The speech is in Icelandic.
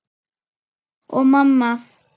Og mamma.